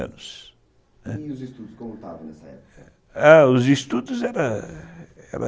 E os estudos como estavam nessa época? Ah, os estudos eram eram